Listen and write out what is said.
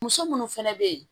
Muso munnu fɛnɛ be ye